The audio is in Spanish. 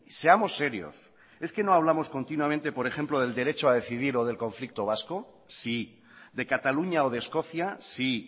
seamos serios es que no hablamos continuamente por ejemplo del derecho a decidir o del conflicto vasco sí de cataluña o de escocia sí